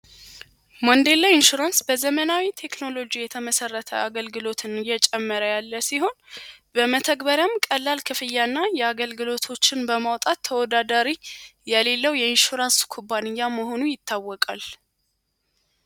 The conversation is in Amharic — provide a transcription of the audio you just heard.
ማንዴንላ ኢንሹራንስ በዘመናዊ ቴክኖሎጂ የተመሠረተ አገልግሎትን እየጨመረ ያለ ሲሆን በመተግበሪም ቀላል ክፍያ እና የአገልግሎቶችን በማውጣት ተወዳዳሪ የሌለው የኢንሹራንስ ኩባንያ መሆኑ ይታወቃል።